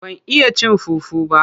Ban iya cin fufu ba,